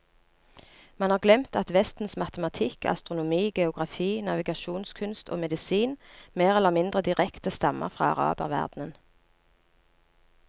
Man har glemt at vestens matematikk, astronomi, geografi, navigasjonskunst og medisin mer eller mindre direkte stammer fra araberverdenen.